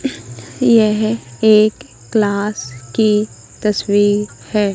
यह एक क्लास की तस्वीर है।